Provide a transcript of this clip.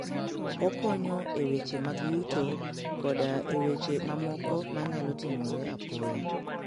Okonyo e weche mag yuto koda e weche mamoko manyalo timore apoya.